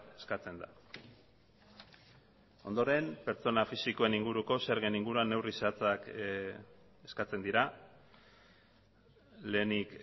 eskatzen da ondoren pertsona fisikoen inguruko zergen inguruan neurri zehatzak eskatzen dira lehenik